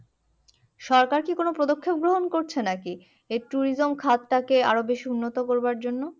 সরকার কি কোনো পদক্ষেপ গ্রহণ করছে নাকি? এই tourism খাতটাকে আরো বেশি উন্নত করবার জন্য?